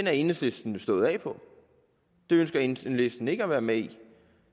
er enhedslisten jo stået af det ønsker enhedslisten ikke at være med i